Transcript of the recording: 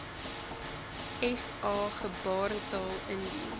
sa gebaretaal indien